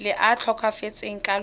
le a tlhokafetseng ka lona